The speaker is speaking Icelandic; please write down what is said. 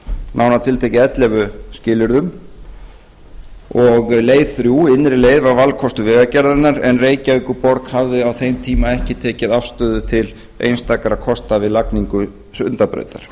nánar tiltekið ellefu skilyrðum leið þrjú innri leið var valkostur vegagerðarinnar en reykjavíkurborg hafði á þeim tíma ekki tekið afstöðu til einstakra kosta við lagningu sundabrautar